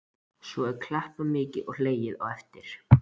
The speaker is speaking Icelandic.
Svo er klappað mikið og hlegið á eftir.